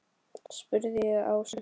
spurði ég Ásu.